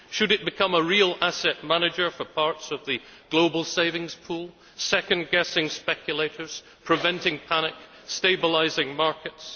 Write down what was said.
Should it become a real asset manager for parts of the global savings pool, second guessing speculators, preventing panic, stabilising markets?